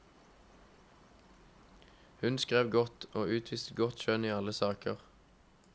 Hun skrev godt, og utviste godt skjønn i alle saker.